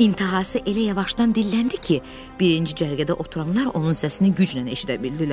intihası elə yavaşdan dilləndi ki, birinci cərgədə oturanlar onun səsini güclə eşidə bildilər.